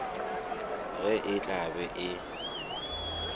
ge e tla be e